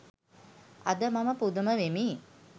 අද මම පුදුම වෙමි